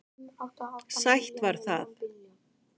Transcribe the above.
Sætt var það.